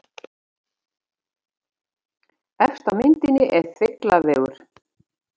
Efst á myndinni er Þrengslavegur.